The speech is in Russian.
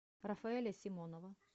рафаэля симонова